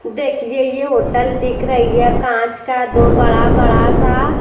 देखिए ये होटल दिख रही है कांच का दो बड़ा बड़ा सा--